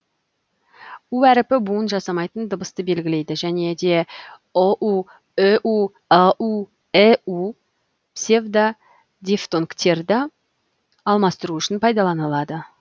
у әрпі буын жасамайтын дыбысты белгілейді және де ұу үу ыу іу псевдодифтонгтерді алмастыру үшін пайдаланылады